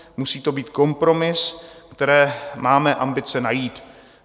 Musí to být kompromis, který máme ambice najít.